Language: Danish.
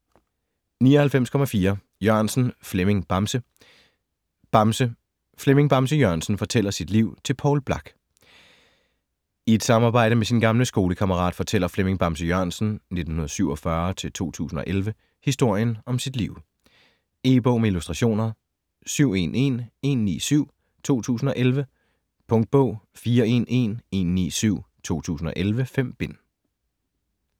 99.4 Jørgensen, Flemming "Bamse" Bamse: Flemming Bamse Jørgensen fortæller sit liv til Poul Blak I et samarbejde med sin gamle skolekammerat fortæller Flemming Bamse Jørgensen (1947-2011) historien om sit liv. E-bog med illustrationer 711197 2011. Punktbog 411197 2011. 5 bind.